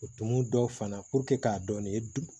O tumu dɔ fana k'a dɔn nin ye dug